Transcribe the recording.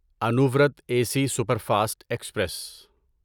Anuvrat A C superfast express